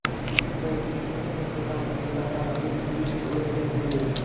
इससे पहले कि मैं उन्हें चेतावनी दे पाता वे सीढ़ी से उलझकर गिर गए